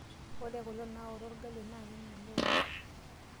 Ore kule naoto orgali naa kemelok .